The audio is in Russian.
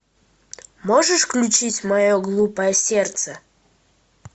можешь включить мое глупое сердце